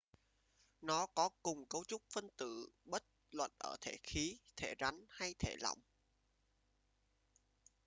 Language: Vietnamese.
nó có cùng cấu trúc phân tử bất luận ở thể khí thể rắn hay thể lỏng